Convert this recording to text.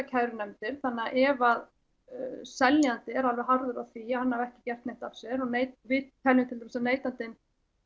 kærunefndir þannig ef að seljandi er alveg harður á því að hann hafi ekki gert neitt af sér og við teljum til dæmis að neytandi